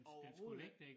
Overhovedet ikke